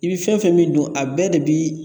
I bi fɛn fɛn min dun a bɛɛ de bi